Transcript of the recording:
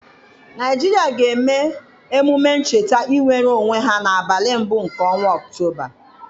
Naịjirịa ga-eme emume ncheta inwere onwe ha n'abalị mbụ nke ọnwa Ọktoba.